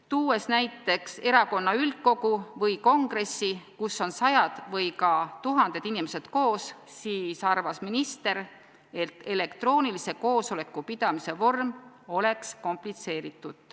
Tuues näiteks erakonna üldkogu või kongressi, kus on sajad või ka tuhanded inimesed koos, arvas minister, et elektroonilise koosoleku pidamise vorm oleks komplitseeritud.